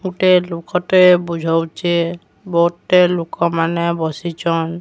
ଗୋଟେ ଲୋକଟେ ବୁଝଉଚେ। ବହୁତ୍ ଟେ ଲୋକମାନେ ବସିଚନ୍।